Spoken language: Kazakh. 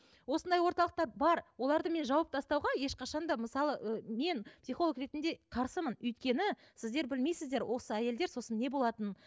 осындай орталықтар бар оларды мен жауып тастауға ешқашан да мысалы ы мен психолог ретінде қарсымын өйткені сіздер білмейсіздер осы әйелдер сосын не болатынын